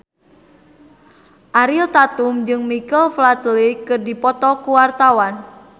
Ariel Tatum jeung Michael Flatley keur dipoto ku wartawan